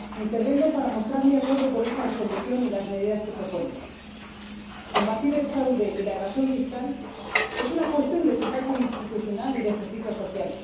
Señor Presidente, intervengo para mostrar mi acuerdo con esta Resolución y con las medidas que propone. Combatir el fraude y la evasión fiscal es una cuestión de eficacia institucional y de justicia social.